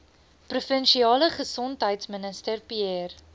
provinsiale gesondheidsminister pierre